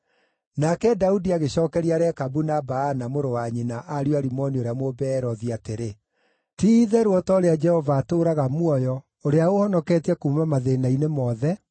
Nake Daudi agĩcookeria Rekabu na Baana, mũrũ wa nyina, ariũ a Rimoni ũrĩa Mũbeerothi atĩrĩ, “Ti-itherũ o ta ũrĩa Jehova atũũraga muoyo, ũrĩa ũhonoketie kuuma mathĩĩna-inĩ mothe,